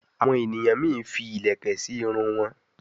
àwọn ènìyàn mí fí ilẹkẹ sí Irun wón.